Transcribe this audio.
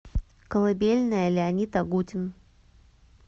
колыбельная леонид агутин